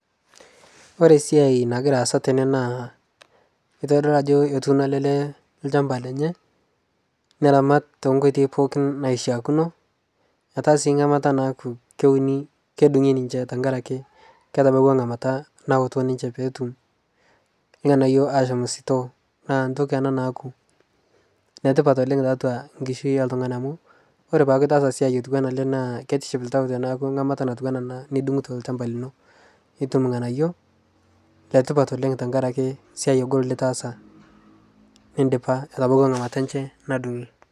kore siai nagiraa aasa tene naa keitodoluu ajo etuuno ale lee lshampa lenye neramat te nkoitei pooki naishiakino etaa sii ngamata naaku kodungii ninshe tankarake ketabauwa ngamata nawoto ninshe peetum lghanayo ashom sitoo naa ntoki ana naaku netipat oleng taatua nkishiu e ltungani amu kore peaku itaasa siai otuwana alee naaku keitiship ltau tanaaku ngamata natuwana ana nidunguto lshampa linoo itum lghanayo tankarake siai ogol litaasa nindipa etabauwa ngamata enshe nadungii